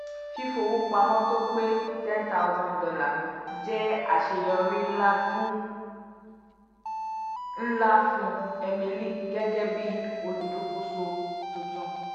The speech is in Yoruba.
fífowópamọ́ tó pé ten thousand dollae jẹ́ àṣeyọrí ńlá fún ńlá fún emily gẹ́gẹ́ bí olùdókòso tuntun